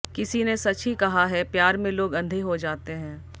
किसी ने सच ही कहा है प्यार में लोग अंधे हो जाते है